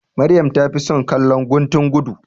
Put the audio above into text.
Maryam ta fi son kallon guntun gudu.